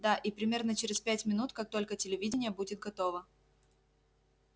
да и примерно через пять минут как только телевидение будет готово